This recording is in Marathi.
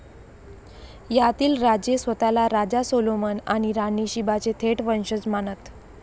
यातील राजे स्वतःला राजा सोलोमन आणि राणी शीबाचे थेट वंशज मानत.